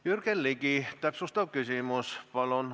Jürgen, Ligi, täpsustav küsimus, palun!